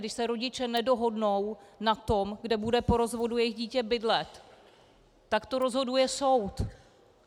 Když se rodiče nedohodnou na tom, kde bude po rozvodu jejich dítě bydlet, tak to rozhoduje soud.